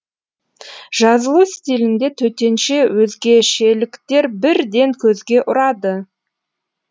жазылу стилінде төтенше өзгешеліктер бірден көзге ұрады